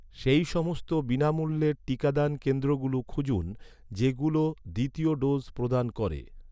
সেই সমস্ত বিনামূল্যের টিকাদান কেন্দ্রগুলো খুঁজুন, যেগুলো দ্বিতীয় ডোজ প্রদান করে